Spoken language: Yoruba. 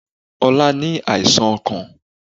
Ọlá ní àìsàn ọkàn